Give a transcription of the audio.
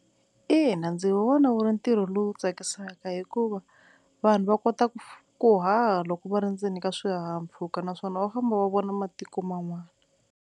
Ina, ndzi vona wu ri ntirho lowu tsakisaka hikuva vanhu va kota ku ku haha loko va ri ndzeni ka swihahampfhuka naswona va famba va vona matiko man'wana.